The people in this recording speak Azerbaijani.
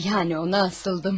Yəni ona asıldım.